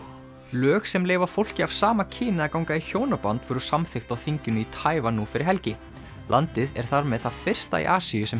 lög sem leyfa fólki af sama kyni að ganga í hjónaband voru samþykkt á þinginu í Taívan nú fyrir helgi landið er þar með það fyrsta í Asíu sem